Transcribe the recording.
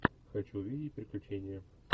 хочу видеть приключения